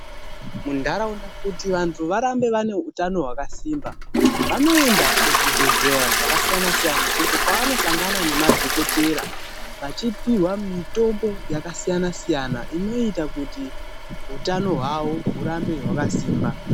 Muntaraunda kuti vanhu varambe vane utano hwakasimba, vanoenda kuzvibhledhlera zvakasiyana siyana, uko kwavanosangana nemadhokodheya vachipiwa mitombo yakasiyana siyana inoita kuti utano hwavo hurambe hwakasimba.